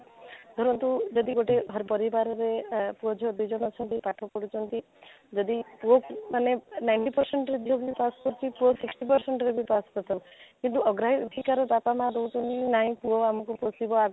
ଧରନ୍ତୁ ଗୋଟେ ହର ପରିବାରରେ ଅଃ ପୁଅ ଝିଆ ଦୁଇ ଜଣ ଅଛନ୍ତି ପାଠ ପଢୁଛନ୍ତି ଯଦି ପୁଅ ମାନେ ninety percent ରେ ଝିଅ ମାନେ ପାସ କରିଛନ୍ତି ପୁଅ sixty percent ବି ପାସ୍ କରିଥାଉ କିନ୍ତ ଆଗ୍ରହୀ ଏଠିକାର ବାପା ମାଆ କହୁଛନ୍ତି କି ନାହିଁ ପୁଅ ଆମକୁ ପୋଷିବା ଆଗକୁ ନେବ